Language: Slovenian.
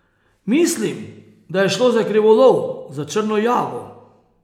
Mislim, da je šlo za krivolov, za črno jago.